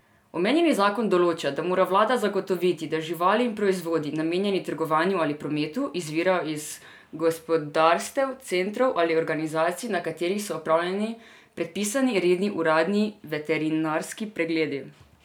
Omenjeni zakon določa, da mora vlada zagotoviti, da živali in proizvodi, namenjeni trgovanju ali prometu, izvirajo iz gospodarstev, centrov ali organizacij, na katerih so opravljeni predpisani redni uradni veterinarski pregledi.